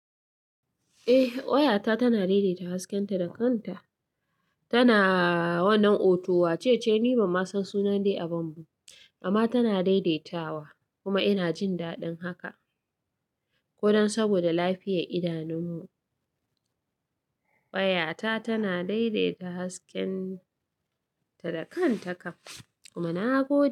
Eh wayata tana daidaita hasken ta da kanta. Tana wannan auto. Wace ce? Ni ban san sunan dai a babban, amma tana daidaitawa kuma ina jin daɗin haka. Ko don saboda lafiyar idanunmu wayata tanadaidaita hasken ta da kan taka kuma na go.